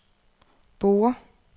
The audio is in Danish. Borre